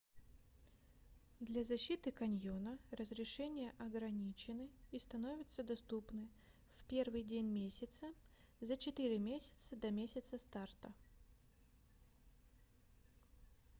для защиты каньона разрешения ограничены и становятся доступны в 1-й день месяца за четыре месяца до месяца старта